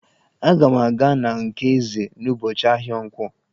Aga m aga na nke Eze n'ụbọchị ahịa nkwọ.